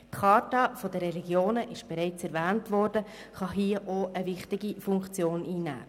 Die «Charta der Religionen» ist bereits erwähnt worden, und diese kann hier auch eine wichtige Funktion einnehmen.